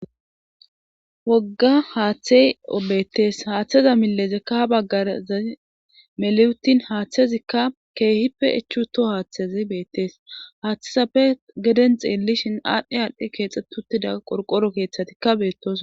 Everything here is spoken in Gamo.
Wogga haaththey betes haaththeza milezekka ha baggarza meliyutin haaththezikka keehippe echuto haaththezi beettes haaththesappe geden xeelishin aadhdhe aalhdhe keexxetuttida qorqoro keeththatikka beettosona.